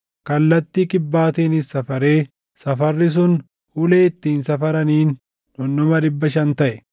Kallattii kibbaatiinis safaree safarri sun ulee ittiin safaraniin dhundhuma dhibba shan taʼe.